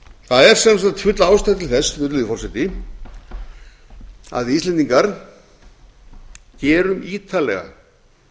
það er sem sagt full ástæða til þess virðulegi forseti að við íslendingar gerum ítarlega